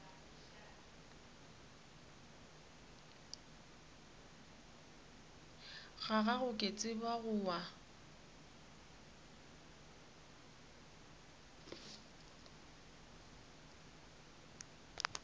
gago ke tseba go wa